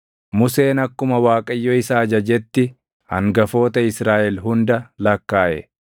Museen akkuma Waaqayyo isa ajajetti hangafoota Israaʼel hunda lakkaaʼe.